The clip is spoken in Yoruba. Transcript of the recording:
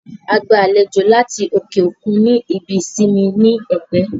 A gba àlejò láti òkè òkun ní ibi ìsinmi ní Ẹ̀pẹ́